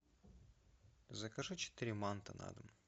закажи четыре манта на дом